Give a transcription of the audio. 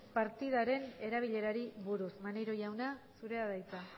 partidaren erabilerari buruz maneiro jauna zurea da hitza